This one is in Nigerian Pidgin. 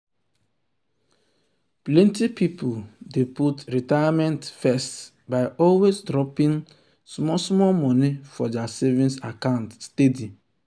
plenty people dey put retirement first by always dropping dropping small small money for their savings account steady.